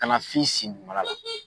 Kana f'i sen kala la